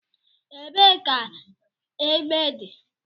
Ebee ka egbe dị?